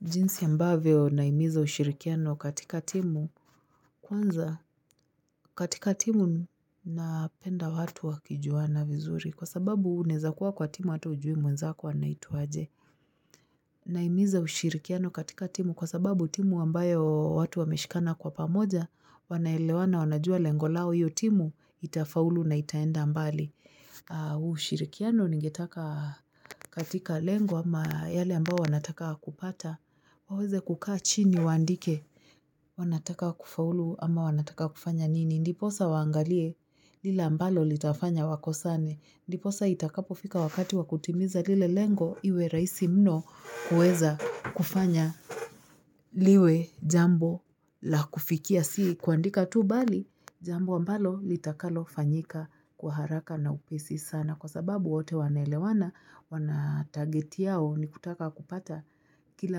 Jinsi ambavyo naimiza ushirikiano katika timu. Kwanza katika timu napenda watu wakijuana vizuri. Kwa sababu unaeza kuwa kwa timu hata ujui mwenzako anaitwaje. Naimiza ushirikiano katika timu kwa sababu timu ambayo watu wameshikana kwa pamoja. Wanaelewana wanajua lengolao iyotimu itafaulu na itaenda mbali. Ushirikiano ningetaka katika lengo ama yale ambao wanataka kupata. Waweze kukaa chini waandike. Wanataka kufaulu ama wanataka kufanya nini. Ndiposa waangalie lile ambalo litafanya wako sane. Ndiposa itakapofika wakati wakutimiza lile lengo iwe raisi mno kueza kufanya liwe jambo la kufikia. Si kuandika tu bali jambo ambalo litakalo fanyika kwaharaka na upesi sana. Kwa sababu wote wanaelewana wanatarget yao ni kutaka kupata kile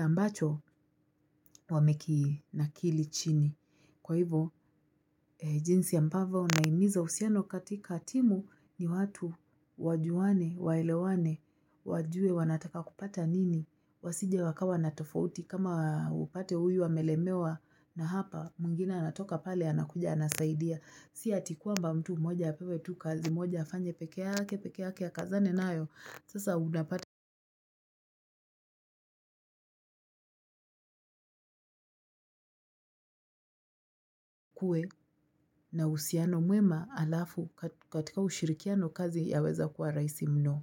ambacho wamekinakili chini kwa hivyo jinsi ya ambavo unaimiza usiano katika timu ni watu wajuwane waelewane wajue wanataka kupata nini wasije wakawa natofauti kama upate huyu amelemewa na hapa mwingine anatoka pale anakuja anasaidia siatikwamba mtu moja apewe tu kazi moja afanye pekeake pekeake akazane na ayo sasa unapata na usiano mwema alafu katika ushirikiano kazi ya weza kuwa raisimno.